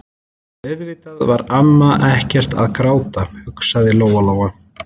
En auðvitað var amma ekkert að gráta, hugsaði Lóa Lóa.